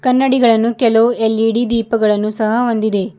ಕನ್ನಡಿಗಳನ್ನು ಕೆಲವು ಎಲ್_ಇ_ಡಿ ದೀಪಗಳನ್ನು ಸಹ ಹೊಂದಿದೆ.